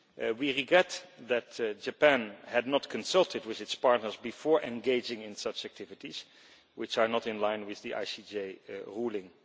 We regret that Japan had not consulted with its partners before engaging in such activities, which are not in line with the ICJ ruling.